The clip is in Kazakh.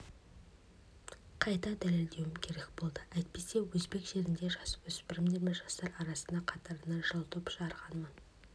қайта дәлелдеуім керек болды әйтпесе өзбек жерінде жасөспірімдер мен жастар арасында қатарынан жыл топ жарғанмын